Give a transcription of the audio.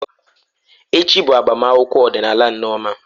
Echi bụ agbamakwụkwọ ọdịnala Nneoma.